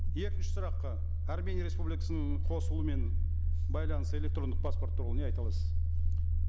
екінші сұраққа армения республикасының қосылуымен байланыс электрондық паспорт туралы не айта аласыз